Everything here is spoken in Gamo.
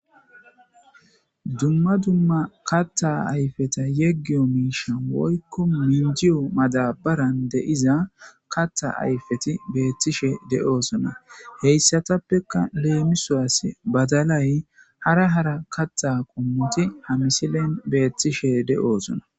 Dumma dumma katta ayfeta yeggiyo miishan woykko mindiyo madabaran de'iza katta ayfeti beethtishe de'osona heyssatappekka leemisawas badalay hara hara katta qummoti ha misilen beettishe de'oosona.